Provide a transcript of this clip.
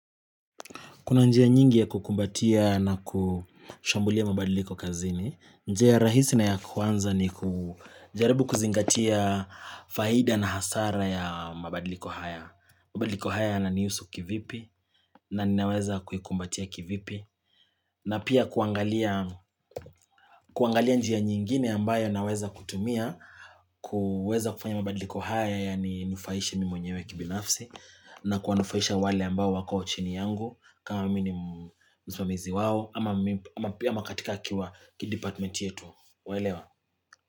Kuna njia nyingi ya kukumbatia na kushambulia mabadiliko kazini. Njia rahisi na ya kwanza ni kujaribu kuzingatia faida na hasara ya mabadiliko haya. Mabadiliko haya yananihusu kivipi na ninaweza kuikumbatia kivipi. Na pia kuangalia njia nyingine ambayo naweza kutumia. Kuweza kufanya mabadiliko haya yaninufaishe mimi mwenyewe kibinafsi. Na kuwanufaisha wale ambao wako chini yangu. Kama mimi ni msimamizi wao ama pia katika akiwa kidepartmenti yetu waelewa.